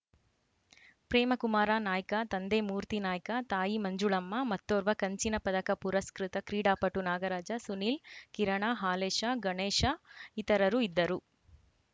ಪ್ರೇಮಕುಮಾರ ನಾಯ್ಕ ತಂದೆ ಮೂರ್ತಿ ನಾಯ್ಕ ತಾಯಿ ಮಂಜುಳಮ್ಮ ಮತ್ತೋರ್ವ ಕಂಚಿನ ಪದಕ ಪುರಸ್ಕೃತ ಕ್ರೀಡಾಪಟು ನಾಗರಾಜ ಸುನಿಲ್‌ ಕಿರಣ ಹಾಲೇಶ ಗಣೇಶ ಇತರರು ಇದ್ದರು